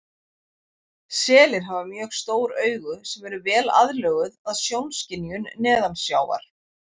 Selir hafa mjög stór augu sem eru vel aðlöguð að sjónskynjun neðansjávar.